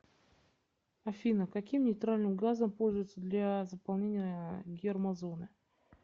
афина каким нейтральным газом пользуются для заполнения гермозоны